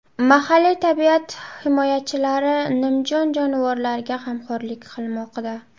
Mahalliy tabiat himoyachilari nimjon jonivorlarga g‘amxo‘rlik qilmoqda.